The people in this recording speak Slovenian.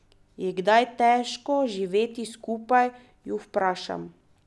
Je kdaj težko živeti skupaj, ju vprašam.